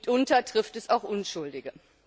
Mitunter trifft es auch Unschuldige.